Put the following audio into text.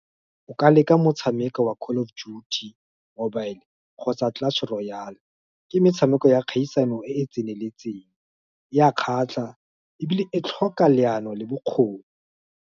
O ka leka motshameko wa call of Duty Mobile, kgotsa Clutch Royal, ke metshameko ya kgaisano e e tseneletseng, e a kgatlha, ebile e tlhoka leano, le bokgoni.